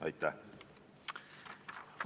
Aitäh!